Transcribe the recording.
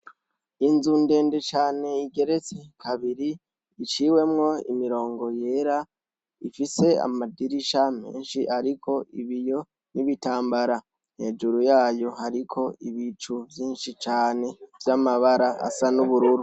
Inzu ndende cane igeretse kabiri, iciwemwo imirongo yera, rifise amadirisha menshi ariko ibiyo n'ibitambara, hejuru yayo hariko ibicu vyinshi cane vy'amabafa asa n'ubururu.